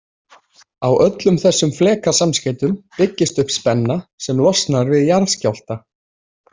Á öllum þessum flekasamskeytum byggist upp spenna sem losnar við jarðskjálfta.